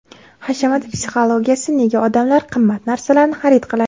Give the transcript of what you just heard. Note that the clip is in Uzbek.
Hashamat psixologiyasi: Nega odamlar qimmat narsalarni xarid qiladi?.